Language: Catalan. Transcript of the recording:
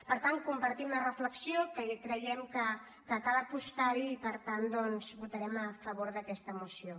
per tant compartim la reflexió que creiem que cal apostar·hi i per tant votarem a favor d’aquesta moció